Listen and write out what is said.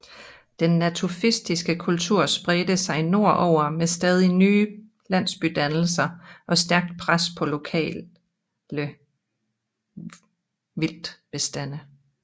Den natufiske kultur spredte sig nordover med stadig nye landsbydannelser og stærkt pres på lokale vildtbestande